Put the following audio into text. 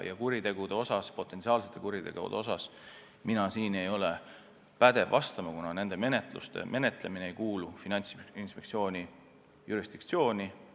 Aga potentsiaalsete kuritegude kohta ma ei ole pädev vastama, kuna nende menetlemine ei kuulu Finantsinspektsiooni jurisdiktsiooni.